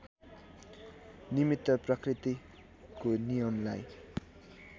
निमित्त प्रकृतिको नियमलाई